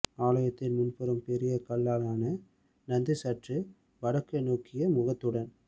ஆலயத்தின் முன்புறம் பெரிய கல்லாலான நந்தி சற்று வடக்கு நோக்கிய முகத்துடன்